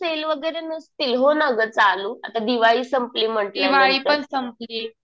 Sale वगैरे नसतील हो ना गं आता चालू. आता दिवाळी सपंली म्हटल्या नंतर.